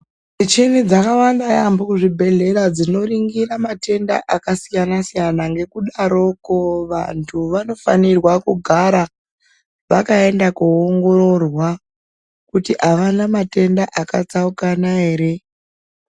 Micheni dzakawanda yaambo kuzvibhedhlera dzinoringira matenda akasiyana-siyana. Ngekudaroko vantu vanofanirwa kugara vakaenda koongororwa kuti havana matenda akatsaukana ere.